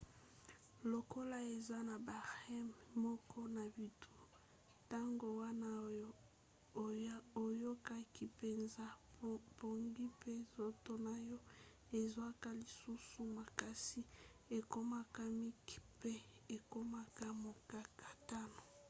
lokola eza na ba rem moke na butu ntango wana oyo oyokaki mpenza pongi pe nzoto na yo ezwaka lisusu makasi ekomaka mike pe ekomaka mokakatano